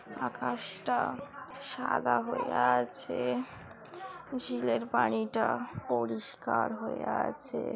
আকাশ টা সাদা হয়ে আছে ঝিলের পানিটা পরিষ্কার হয়ে আছে।